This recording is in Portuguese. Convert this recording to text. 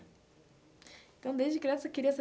Então desde criança você queria ser